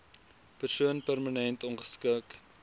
persoon permanent ongeskik